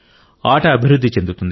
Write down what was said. ఆట అభివృద్ధి చెందుతుంది